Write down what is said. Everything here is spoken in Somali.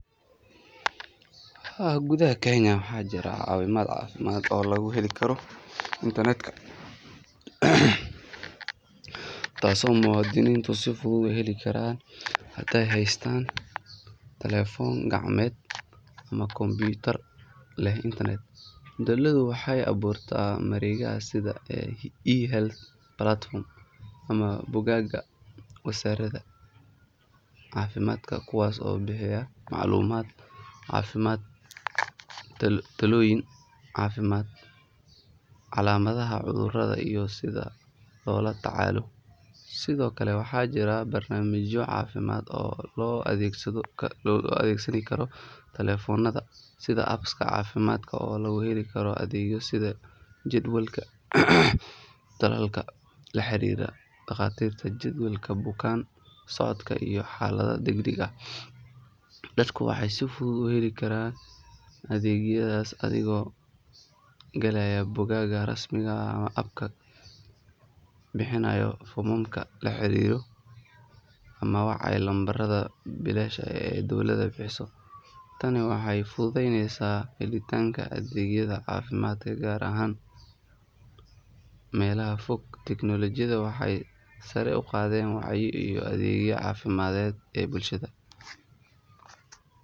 Haa gudaha Kenya waxaa jira caawimaad caafimaad oo laga heli karo internetka taasoo muwaadiniintu si fudud u heli karaan haday haystaan telefoon gacmeed ama kombiyuutar leh internet. Dowladdu waxay abuurtaa mareegaha sida eHealth platforms ama bogagga wasaaradda caafimaadka kuwaas oo bixiya macluumaad caafimaad, talooyin caafimaad, calaamadaha cudurrada iyo sida loola tacaalo. Sidoo kale waxaa jira barnaamijyo caafimaad oo loo adeegsan karo taleefannada sida apps-ka caafimaadka oo lagu heli karo adeegyo sida jadwalka tallaalka, la xiriirida dhakhaatiirta, jadwalka bukaan socodka iyo xaalado degdeg ah. Dadku waxay si fudud ku heli karaan adeegyadaas adigoo galaya bogagga rasmiga ah ama app-ka, buuxinaya foomamka la xiriira ama wacaya lambarrada bilaashka ah ee dowladda bixiso. Tani waxay fududeysay helitaanka adeegyada caafimaadka gaar ahaan meelaha fog fog. Teknolojiyaddu waxay sare u qaaday wacyiga iyo adeegyada caafimaadka ee bulshada.